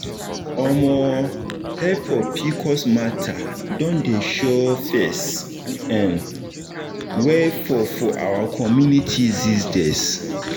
omo help for pcos matter don dey show face um well for for our community these days